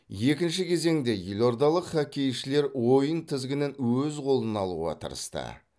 екінші кезеңде елордалық хоккейшілер ойын тізгінін өз қолына алуға тырысты